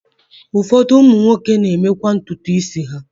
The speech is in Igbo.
Ụfọdụ ụmụ nwoke na-emekwa ntutu isi ha.